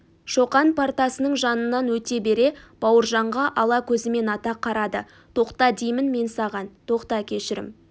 шоқан партасының жанынан өте бере бауыржанға ала көзімен ата қарады тоқта деймін мен саған тоқта кешірім